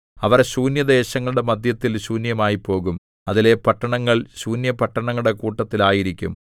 അവർ ശൂന്യദേശങ്ങളുടെ മദ്ധ്യത്തിൽ ശൂന്യമായിപ്പോകും അതിലെ പട്ടണങ്ങൾ ശൂന്യപട്ടണങ്ങളുടെ കൂട്ടത്തിൽ ആയിരിക്കും